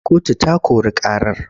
Kotu ta kori ƙarar.